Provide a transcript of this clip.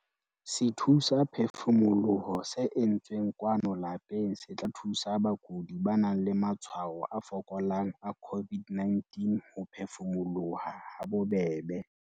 SETHUSAPHEFUMOLOHO se entsweng kwano lapeng se tla thusa bakudi ba nang le matshwao a fokolang a COVID-19 ho phefumoloha habobebe.